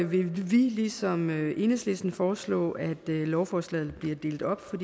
vi vil ligesom enhedslisten foreslå at lovforslaget bliver delt op for